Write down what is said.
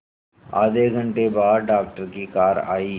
आधे घंटे बाद डॉक्टर की कार आई